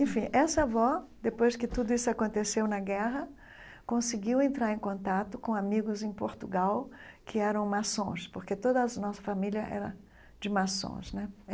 Enfim, essa avó, depois que tudo isso aconteceu na guerra, conseguiu entrar em contato com amigos em Portugal que eram maçons, porque toda a nossa família era de maçons né.